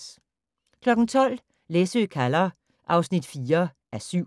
12:00: Læsø kalder (4:7)